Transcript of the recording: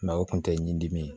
o kun tɛ ɲin dimi ye